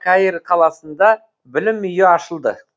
каир қаласында білім үйі ашылды